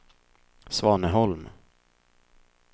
Svaneholm